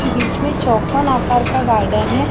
बीच में चौकोन आकर का गार्डन है।